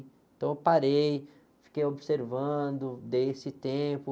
Então eu parei, fiquei observando, dei esse tempo.